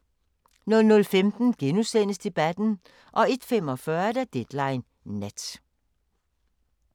00:15: Debatten * 01:45: Deadline Nat